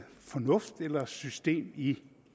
fornuft eller system i